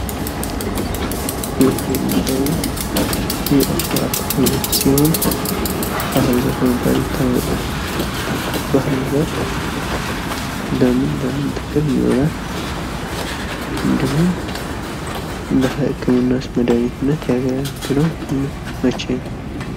ይህ የሚታየው የዕጽዋት አይነት ሲሆንባህር ዛፍ በመባል ይታወቃል። ባህር ዛፍ ለምን ለምን ጥቅም ይውላል ? እንድሁም ለህክምና አገልግሎትስ የሚውለው መቼ ነው?